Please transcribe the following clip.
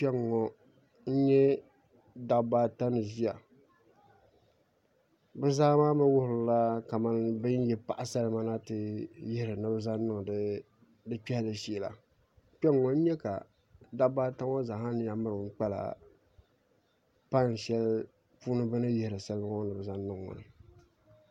Kpɛŋŋo n nyɛ dabba ata ni ʒiya bi zaa maa mii wuhurimi kamani bi ni yi paɣa salima na ni bi ti zaŋ kpɛhi di kpɛhili shee la kpɛŋŋo n nyɛ ka dabba ata ŋo zaŋla nina mirigi kpala pai shɛli bi ni yihiri salima ŋo ni bi zaŋ niŋ maa